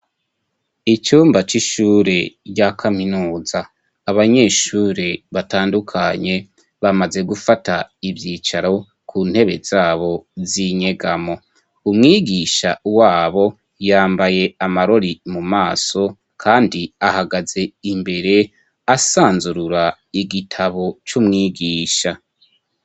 Icumba cy'ishure rya kaminuza ,abanyeshure batandukanye bamaze gufata ivyicaro ku ntebe zabo zinyegamo, umwigisha wabo yambaye amarori mu maso kandi ahagaze imbere asanzurura igitabo c'umwigisha.